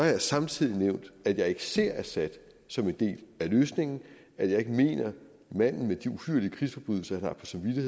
jeg samtidig nævnt at jeg ikke ser assad som en del af løsningen og at jeg ikke mener at manden med de uhyrlige krigsforbrydelser